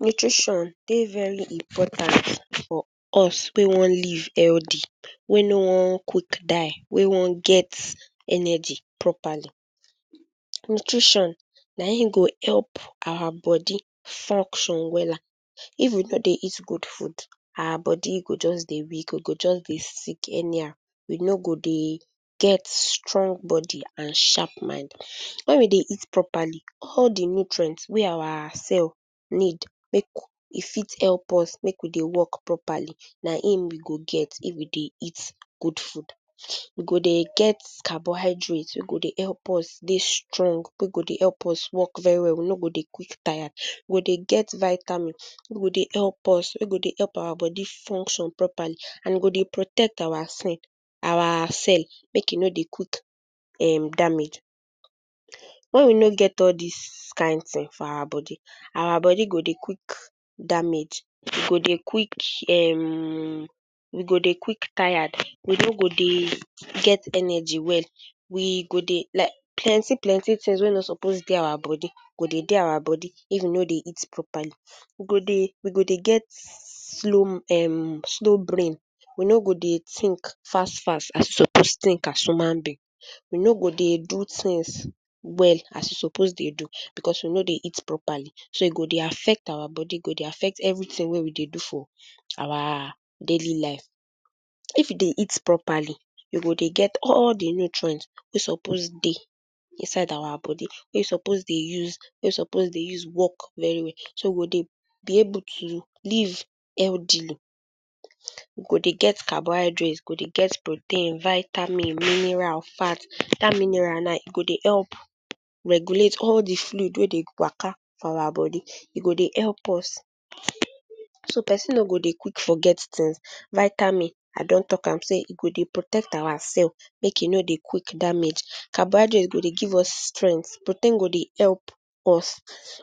Nutrition dey very important for us wey wan live healthy, wey no wan quick die, wey wan get energy properly. Nutrition na im go help our body function wella. If we no dey eat good food, our body go just dey weak, we go just dey sick anyhow, we no go dey get strong body and sharp mind. When we dey eat properly, all de nutrients wey our cell need make e fit help us make we dey work properly na im we go get if we dey eat good food. We go dey get carbohydrate wey go dey help us dey strong, wey go dey help us work very well, we no go dey quick tire. We go dey get vitamin wey go dey help us, wey go dey help our body function properly, and e go dey protect our our cell, make e no dey quick um damage. When we no get all dis kain thing for our body, our body go dey quick damage, e go dey quick um we go dey quick tire, we no go dey get energy well, we go dey, like plenty plenty things wey no suppose dey our body go dey dey our body if we no dey eat properly. We go dey, we go dey get slow um slow brain, we no go dey think fast fast as we suppose think as human being. We no go dey do things well as we suppose dey do, because we no dey eat properly. So e go dey affect our body, e go dey affect everything wey we de do for our daily live. If you dey eat properly, you go dey get all de nutrients wey suppose dey inside our body, wey suppose dey use, wey suppose dey use work very well. So we go dey be able to live healthily. We go dey get carbohydrate, we go dey get protein, vitamin, mineral, fat. Dat mineral now, e go dey help regulate all de fluid wey dey waka for our body. E go dey help us, so pesin no go dey quick forget things. Vitamin, I don talk am sey e go dey protect our cell, make e no dey quick damage. Carbohydrate go dey give us strength. Protein go dey help us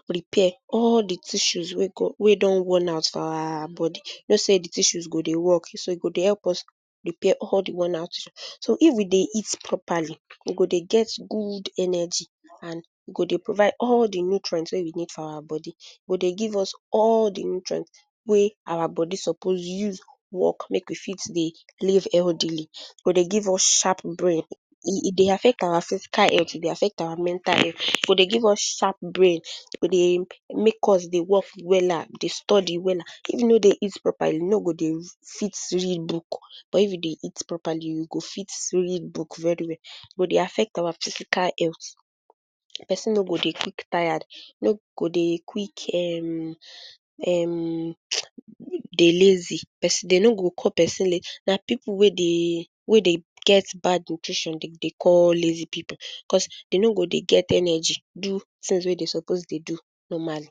repair all de tissues wey wey don worn-out for our body. You know sey de tissues go dey work, so e go dey help us repair all de worn-out tissue. So if we dey eat properly, we go dey get good energy, and we go dey provide all de nutrients wey we need for our body. E go dey give us all de nutrient wey our body suppose use work, make we fit dey live healthily. E go dey give us sharp brain. E e dey affect our physical health, e dey affect our mental health. E go dey give us sharp brain. E go dey make us dey work wella, dey study wella. If you no dey eat properly, you no go dey fit read book, but if you dey eat properly, you go fit read book very well. E go dey affect our physical health, pesin no go dey quick tired. E no go dey quick um um um dey lazy dey no go call pesin lazy. Na pipu wey dey, wey dey get bad nutrition dey dey call lazy pipu, because dey no go dey get energy do things wey dey suppose dey do normally.